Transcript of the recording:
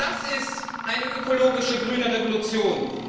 Das ist eine ökologische grüne Revolution!